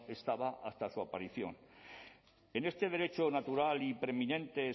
estaba hasta su aparición en este derecho natural y preeminente